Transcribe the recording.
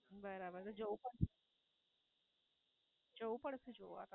બરાબર. જવું પડશે જવું પડશે જોવા.